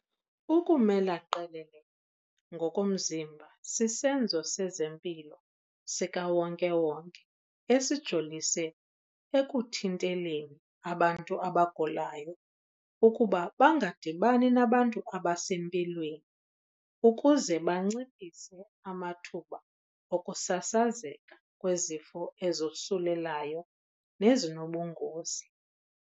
Ukumela qelele ngokomzimba sisenzo sezempilo sikawonke-wonke esijolise ekuthinteleni abantu abagulayo ukuba bangadibani nabantu abasempilweni ukuze banciphise amathuba okusasazeka kwezifo ezosulelayo nezinobungozi.